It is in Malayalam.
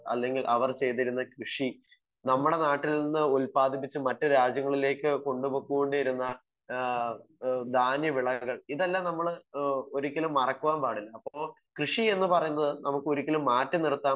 സ്പീക്കർ 1 അല്ലെങ്കിൽ അവർ ചെയ്തിരുന്ന കൃഷി നമ്മുടെ നാട്ടിൽ നിന്ന് ഉൽപ്പാദിപ്പിച്ച് മറ്റു രാജ്യങ്ങളിലേക്ക് കൊണ്ട് പൊക്കോണ്ടിരുന്ന ആഹ് ദാന്യ വിളകൾ ഇതെല്ലാം നമ്മള് ഹ്മ് ഒരിക്കലും മറക്കുവാൻ പാടില്ല. ഇപ്പൊ കൃഷി എന്ന് പറയുന്നത് നമുക്ക് ഒരിക്കലും മാറ്റി നിർത്താൻ